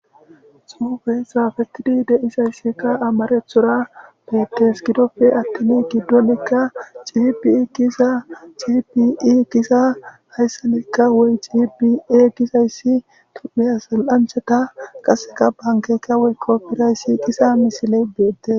xuube saafetidi deizayssika amarethora beettes gidofe attini giddonekka cihibii giza gibii giza hayssanekka woy cibia gizayssi tudpheasal7anchata qaseka bankeyka woy kopirayssi qisa misile beette